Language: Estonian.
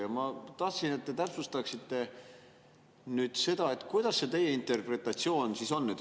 Ja ma tahan, et te täpsustaksite nüüd seda, kuidas see teie interpretatsioon on?